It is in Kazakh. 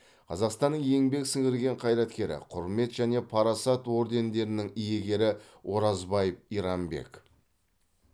қазақстанның еңбек сіңірген қайраткері құрмет және парасат ордендерінің иегері оразбаев иранбек